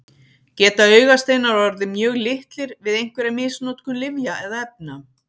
Geta augasteinar orðið mjög litlir við einhverja misnotkun lyfja eða efna?